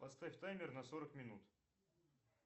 поставь таймер на сорок минут